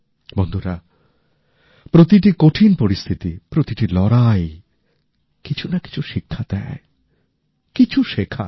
বন্ধুরা প্রতিটি কঠিন পরিস্থিতি প্রতিটি লড়াই কিছু না কিছু শিক্ষা দেয় কিছু শেখায়